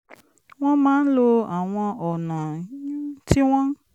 wọ́n máa ń lo àwọn ọ̀nà tí wọ́n